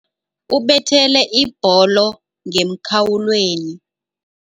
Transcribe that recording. Ubethele ibholo ngemkhawulweni.